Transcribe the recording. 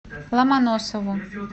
ломоносову